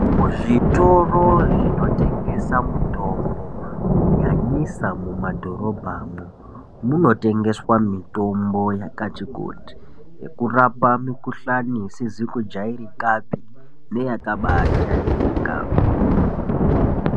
Muzvitoro zvinotengese mutombo kunyanyisa mumadhorobhamwo munotengeswa mitombo yakati kuti yekurapa mikhuhlani isizi kujairikapi neyakaba uajairika.